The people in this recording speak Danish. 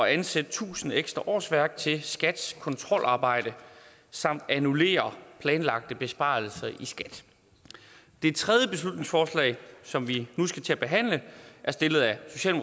at ansætte tusind ekstra årsværk til skats kontrolarbejde samt annullere planlagte besparelser i skat det tredje beslutningsforslag som vi nu skal til at behandle